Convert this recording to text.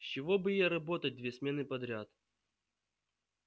с чего бы ей работать две смены подряд